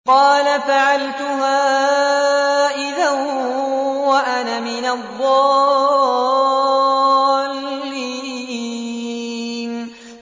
قَالَ فَعَلْتُهَا إِذًا وَأَنَا مِنَ الضَّالِّينَ